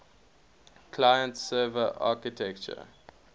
client server architecture